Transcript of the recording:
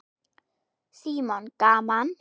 Símon: Gaman?